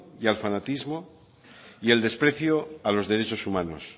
y al fanatismo y el desprecio a los derechos humanos